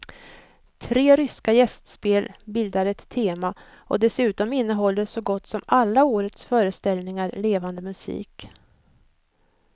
Tre ryska gästspel bildar ett tema och dessutom innehåller så gott som alla årets föreställningar levande musik.